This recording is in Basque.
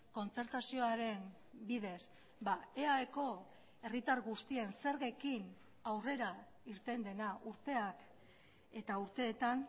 kontzertazioaren bidez eaeko herritar guztien zergekin aurrera irten dena urteak eta urteetan